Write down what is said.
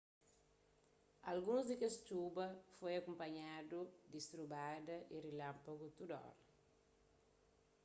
alguns di kes txuba foi akunpanhadu di strubada y rilanpagu tudu óra